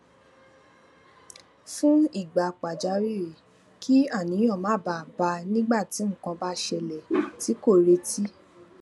fún ìgbà pàjáwìrì kí àníyàn má bàa bá a nígbà tí nǹkan bá ṣẹlè tí kò retí